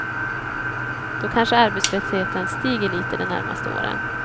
Då kanske arbetslösheten stiger lite de närmaste åren.